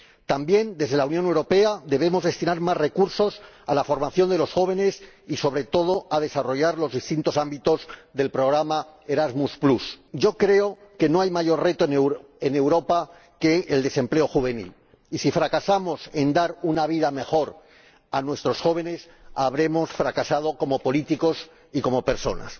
También desde la Unión Europea debemos destinar más recursos a la formación de los jóvenes y, sobre todo, a desarrollar los distintos ámbitos del programa Erasmus. Yo creo que no hay mayor reto en Europa que el desempleo juvenil y, si fracasamos en dar una vida mejor a nuestros jóvenes, habremos fracasado como políticos y como personas.